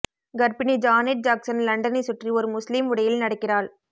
கர்ப்பிணி Janet Jackson லண்டனைச் சுற்றி ஒரு முஸ்லீம் உடையில் நடக்கிறாள்